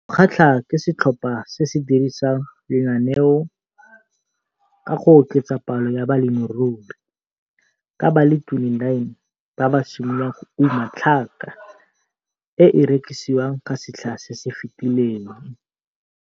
O kgatlhwa ke setlhopha se se dirisang lenaneo ka go oketsa palo ya balemirui ka ba le 29 ba ba simololang go uma tlhaka e e ke rekisiwang ka setlha se se fetileng.